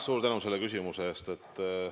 Suur tänu selle küsimuse eest!